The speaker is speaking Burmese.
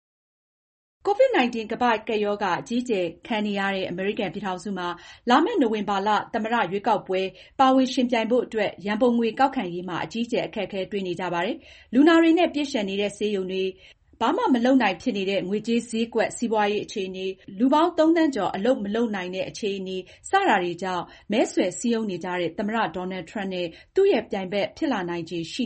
COVID-19 ကမ္ဘာ့ကပ်ရောဂါ အကြီးအကျယ် ခံနေရတဲ့ အမေရိကန်ပြည်ထောင်စုမှာ လာမယ့် နိုဝင်ဘာလ သမ္မတရွေးကောက်ပွဲ ပါဝင်ယှဉ်ပြိုင်ဖို့အတွက် ရန်ပုံငွေကောက်ခံရေးမှာ အကြီးအကျယ် အခက်အခဲ တွေ့နေရပါတယ်။ လူနာတွေနဲ့ ပြည့်လျှံနေတဲ့ ဆေးရုံတွေ၊ ဘာမှမလုပ်နိုင်တဲ့ ငွေကြေးဈေးကွက် စီးပွားရေးအခြေအနေ၊ လူပေါင်း သုံးသန်းကျော် ဘာမှမလုပ်နိုင်ဘဲ ဖြစ်နေတဲ့ အခြေအနေ စတာတွေကြောင့် မဲဆွယ်စည်းရုံးနေကြတဲ့ သမ္မတ Donald Trump နဲ့ သူ့ရဲ့ပြိုင်ဘက် ဖြစ်လာနိုင်ချေရှိ